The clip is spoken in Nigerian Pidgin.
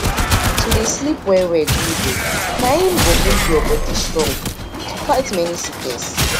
to dey sleep well well good o na im go make your body strong to fight many sickness